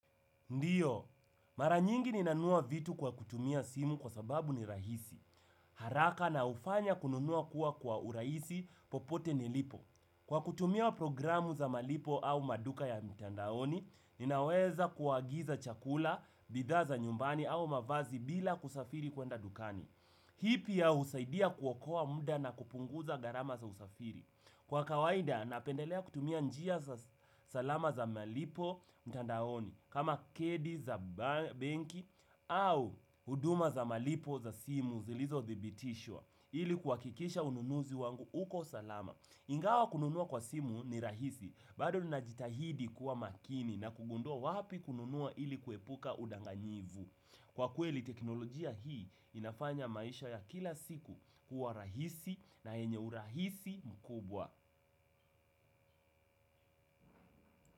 Ndiyo, mara nyingi ninanunua vitu kwa kutumia simu kwa sababu ni rahisi. Haraka na hufanya kununua kuwa kwa urahisi popote nilipo. Kwa kutumia programu za malipo au maduka ya mtandaoni, ninaweza kuagiza chakula, bidhaa za nyumbani au mavazi bila kusafiri kwenda dukani. Hii pia husaidia kuokoa muda na kupunguza gharama za usafiri. Kwa kawaida, napendelea kutumia njia za salama za malipo mtandaoni. Kama kadi za benki au huduma za malipo za simu zilizothibitishwa ili kuhakikisha ununuzi wangu uko salama ingawa kununua kwa simu ni rahisi bado ninajitahidi kuwa makini na kugundua wapi kununua ili kuepuka udanganyifu. Kwa kweli teknolojia hii inafanya maisha ya kila siku kuwa rahisi na yenye urahisi mkubwa.